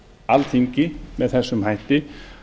alþingi með þessum hætti